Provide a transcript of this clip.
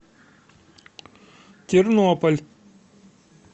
тернополь